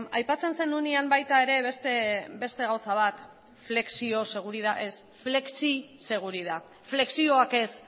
aipatzen zenuenean baita ere beste gauza bat flexioseguridad ez flexiseguridad flexioak ez